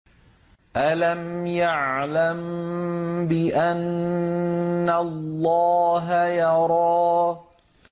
أَلَمْ يَعْلَم بِأَنَّ اللَّهَ يَرَىٰ